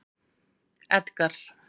Edgar